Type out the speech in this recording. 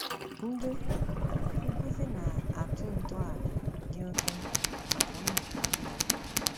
Ndị nkúzi na - atụ́ ntọala dị oké mkpa maka mmụ́tá mmadụ.